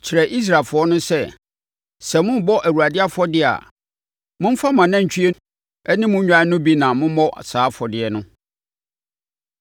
“Kyerɛ Israelfoɔ no sɛ, ‘sɛ morebɔ Awurade afɔdeɛ a, momfa mo anantwie ne mo nnwan no bi na mommɔ saa afɔdeɛ no.